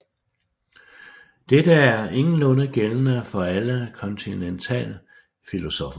Dette er ingenlunde gældende for alle kontinentalfilosoffer